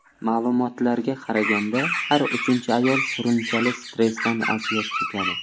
Ma’lumotlarga qaraganda, har uchinchi ayol surunkali stressdan aziyat chekadi.